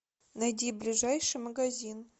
найди ближайший магазин